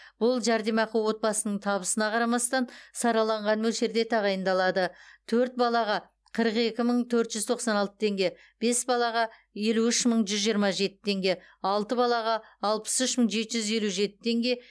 бұл жәрдемақы отбасының табысына қарамастан сараланған мөлшерде тағайындалады төрт балаға қырық екі мың төрт жүз тоқсан алты теңге бес балаға елу үш мың жүз жиырма жеті теңге алты балаға алпыс үш мың бес жүз елу жеті теңге